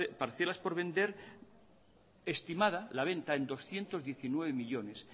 parcelas por vender estimada la venta en doscientos diecinueve millónes